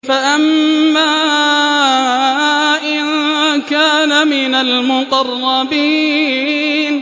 فَأَمَّا إِن كَانَ مِنَ الْمُقَرَّبِينَ